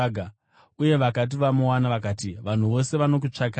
uye vakati vamuwana, vakati, “Vanhu vose vanokutsvakai!”